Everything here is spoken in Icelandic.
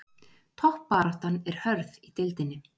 Toppbaráttan er hörð í deildinni